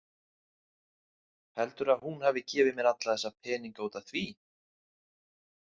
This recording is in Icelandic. Heldurðu að hún hafi gefið mér alla þessa peninga út af því?